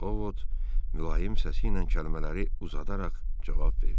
O, vot mülayim səsi ilə kəlmələri uzadaraq cavab verdi.